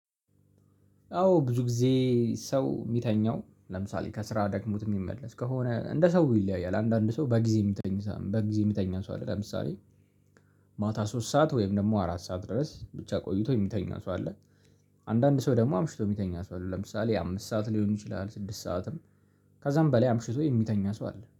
አዎ ብዙ ጊዜ ሰው የሚተኛው ለምሳሌ ከስራ ደግሞት የሚመለስ ከሆነ እንደ ሰው ይለያያል አንዳንድ ሰው በጊዜ የምትተኛ ሰው አለ። ለምሳሌ ማታ ሶስት ሰዓት ወይም ደግሞ አራት ሰዓት ድረስ ብቻ ቆይቶ የሚተኛ ሰው አለ። አንዳንድ ሰው ደግሞ አምሽቶ የሚተኛ ሰው አለ ለምሳሌ አምስት ሰዓት ሊሆን ይችላል። ስድስት ሰዓትም ከዛም በላይ አምሽቶ የሚተኛ ሰው አለ